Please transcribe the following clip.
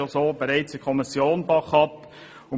Dieser wurde bereits in der Kommission abgelehnt.